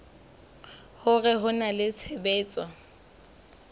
hore ho na le tshebetso